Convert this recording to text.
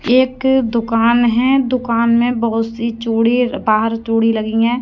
एक दुकान है दुकान मे बहुत सी चूड़ी बाहर चूड़ी लगी है।